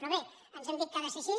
però bé ens han dit que ha de ser així